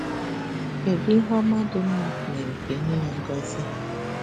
kedu Ihe ọma dị mma mere ka e nye ya ngọzi